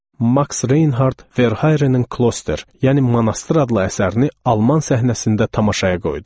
Max Reinhardt Verharenin Kloster, yəni monastır adlı əsərini alman səhnəsində tamaşaya qoydu.